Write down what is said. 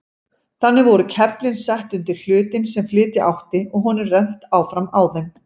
Þannig voru keflin sett undir hlutinn sem flytja átti og honum rennt áfram á þeim.